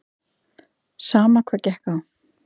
Sama hvað gekk á.